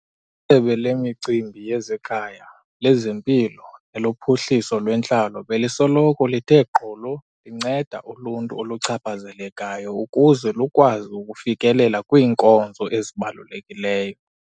ISebe leMicimbi yezeKhaya, lezeMpilo neloPhuhliso lweNtlalo belisoloko lithe gqolo linceda uluntu oluchaphazelekayo ukuze lukwazi ukufikelela kwiinkonzo ezibalulekileyo.